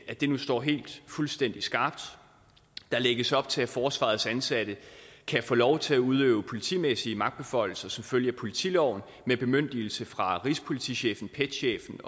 at det nu står helt fuldstændig skarpt der lægges op til at forsvarets ansatte kan få lov til at udøve politimæssige magtbeføjelser som følge af politiloven med bemyndigelse fra rigspolitichefen pet chefen